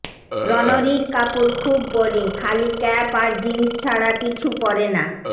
রণরীর কাপুর খুব বোরিং খালি ক্যাপ আর জিনস ছাড়া কিছু পরে না